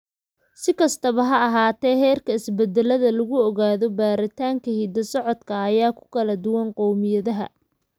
Si kastaba ha ahaatee, heerka isbeddellada lagu ogaado baaritaanka hidda-socodka ayaa ku kala duwan qowmiyadaha.